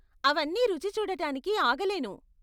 అవన్నీ రుచి చూడటానికి ఆగలేను.